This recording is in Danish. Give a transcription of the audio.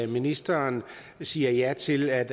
ministeren siger ja til at